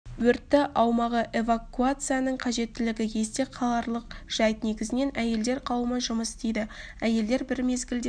өрттің аумағы эвакуацияның қажеттілігі есте қаларлық жайт негізінен әйелдер қауымы жұмыс істейді әйелдер бір мезгілде